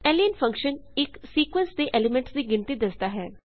lane function ਇੱਕ sequence ਦੇ elements ਦੀ ਗਿਣਤੀ ਦਸਦਾ ਹੈ